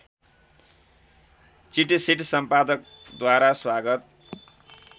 चिटसिट सम्पादकद्वारा स्वागत